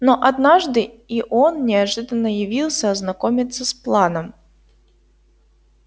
но однажды и он неожиданно явился ознакомиться с планом